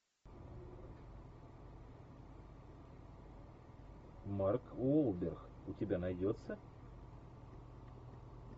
марк уолберг у тебя найдется